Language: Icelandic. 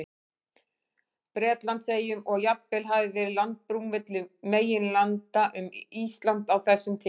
Bretlandseyjum, og að jafnvel hafi verið landbrú milli meginlanda um Ísland á þessum tíma.